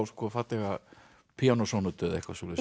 fallega píanósónötu eða eitthvað svoleiðis